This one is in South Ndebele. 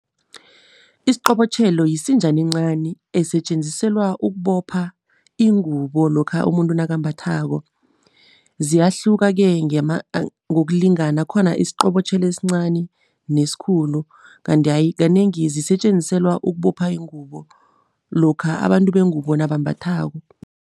Isiqobotjhelo yisinjana encani esetjenziselwa ukubopha ingubo lokha umuntu nakambathako. Ziyahluka-ke ngokulingana, khona isiqobotjhelo esincani nesikhulu, kanti kanengi zisetjenziselwa ukubopha ingubo lokha abantu bengubo nabambathako.